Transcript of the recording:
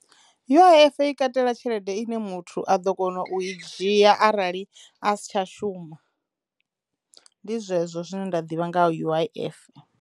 U_I_F i katela tshelede ine muthu a ḓo kono u i dzhia arali a si tsha shuma. Ndi zwezwo zwine nda ḓivha nga ha U_I_F.